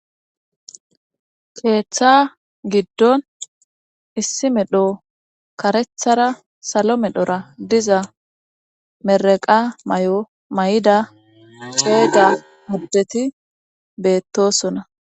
keeththa giddon issi medho karethara salo medhora diza meraqa may7o may7ida ceega mobeti beettosona